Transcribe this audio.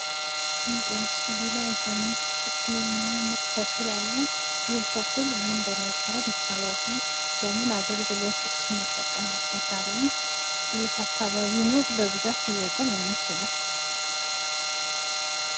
ይህ በመስሉ ላይ በነጭ የሚያምር ተክል አለ። ይህ ተክል ምን በመባል ይታወቃል? ለምን አገልግሎትስ እንጠቀምበታለን? በየት አካባቢ ነው በብዛት ሊበቅል የሚችለው?